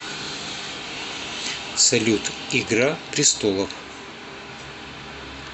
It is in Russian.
салют игра пристолов